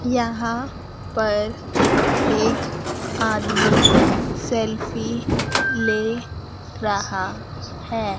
यहां पर एक आदमी सेल्फी ले रहा है।